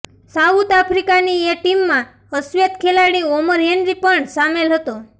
south આફિકાની એ ટીમમાં અશ્વેત ખેલાડી ઓમર હેનરી પણ સામેલ હતો